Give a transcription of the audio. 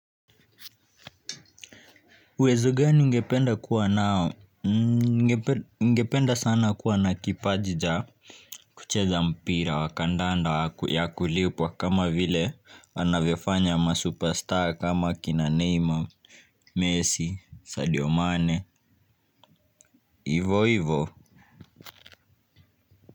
Uwezo gani ungependa kuwa nao? Ningependa sana kuwa na kipaji cha kucheza mpira wa kandanda ya kulipwa kama vile wanavyofanya ma superstar kama kina Neymer, Messi, Sadio Mane, ivo ivo.